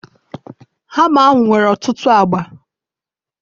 hama ahu nwere otutu agba